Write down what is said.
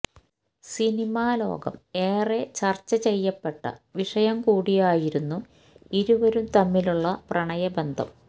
സിനിമാലോകം ഏറെ ചര്ച്ച ചെയ്യപ്പെട്ട വിഷയം കൂടിയായിരുന്നു ഇരുവരും തമ്മിലുള്ള പ്രണയ ബന്ധം